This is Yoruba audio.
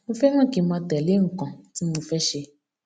mo féràn kí n máa tèlé nnkan tí mo fẹ ṣe